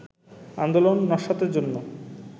আন্দোলন নস্যাতের জন্য